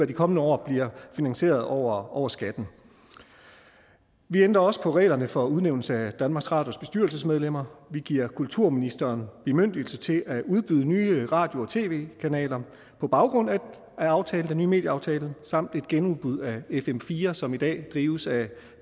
de kommende år bliver finansieret over over skatten vi ændrer også på reglerne for udnævnelse af danmarks radios bestyrelsesmedlemmer vi giver kulturministeren bemyndigelse til at udbyde nye radio og tv kanaler på baggrund af den nye medieaftale samt lave et genudbud af fm fire som i dag drives af